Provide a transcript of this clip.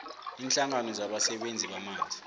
iinhlangano zabasebenzisi bamanzi